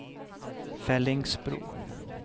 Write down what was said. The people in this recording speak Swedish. Fellingsbro